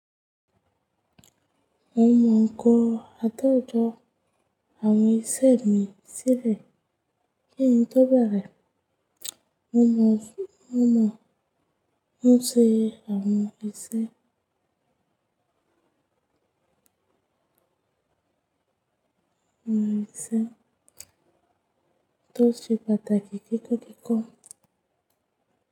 Mo mọ̀ nǹkan àtẹ̀jọ àwọn iṣẹ́ mi sílẹ̀, kí n tó bẹ̀rẹ̀, mo mọ̀ nǹkan ṣe àwọn iṣẹ́ tó ti pàtàkì kíkókiko.